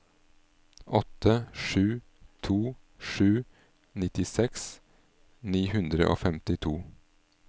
åtte sju to sju nittiseks ni hundre og femtito